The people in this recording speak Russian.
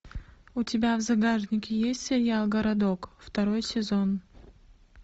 у тебя в загашнике есть сериал городок второй сезон